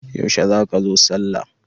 Yaushe za ka zo sallah?